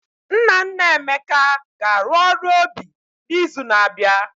Nna nna Emeka ga-arụ ọrụ obi n'izu na-abịa.